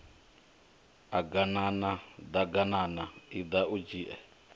aganana ḓaganana iḓa u dzhie